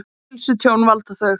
Hvaða heilsutjóni valda þau?